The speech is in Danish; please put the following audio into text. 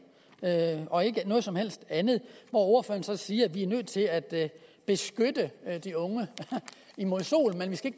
og ikke noget som helst andet ordføreren siger så at vi er nødt til at beskytte de unge mod sol men vi skal